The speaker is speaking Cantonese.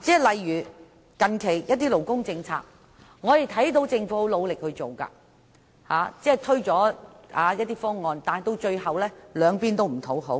例如，近期某些勞工政策，我們看到政府推行得很努力，但最終卻兩邊不討好。